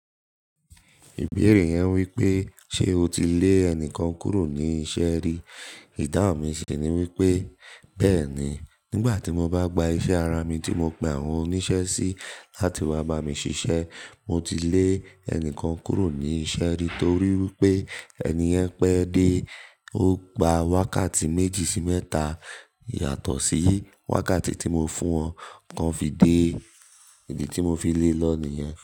Ìbéèrè yẹn wípé ṣe o ti lé ẹnìkan kúrò ní iṣẹ́ rí? Idáhun mi sì ni wípé, bẹ́ẹ̀ni, nígbà tí mo bá gba iṣẹ́ ara mi tí mo pe àwọn oníṣẹ́ sí láti wá bá mi ṣiṣẹ́, mo ti lé ẹnìkan kúrò ní iṣẹ́ rí torí wípé ẹni yẹn pẹ́ dé, ó gba wákàtí méjì sí mẹ́ta yàtọ̀ sí wákàtí tí mo fún wọn, kan fi dé, ìdí tí mo fi lé lọ ni ìyẹn.